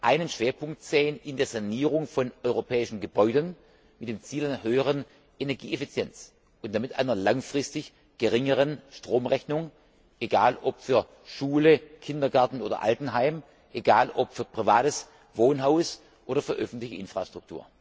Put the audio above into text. einen Schwerpunkt in der Sanierung von europäischen Gebäuden sehen mit dem Ziel einer höheren Energieeffizienz und damit einer langfristig geringeren Stromrechnung, egal ob für Schule, Kindergarten oder Altenheim, egal ob für privates Wohnhaus oder für öffentliche Infrastruktur.